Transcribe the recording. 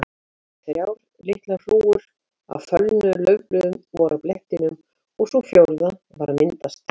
Þrjár litlar hrúgur af fölnuðum laufblöðum voru á blettinum og sú fjórða var að myndast.